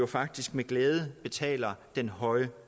faktisk med glæde betaler den høje